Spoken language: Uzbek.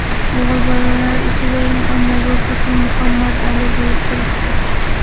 O‘g‘il bolalar ichida eng ommabop ism Muhammad Ali bo‘lib turibdi.